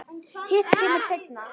Hitt kemur seinna.